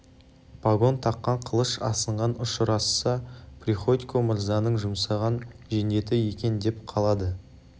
пагон таққан қылыш асынған ұшырасса приходько мырзаның жұмсаған жендеті екен деп қалады